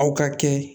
Aw ka kɛ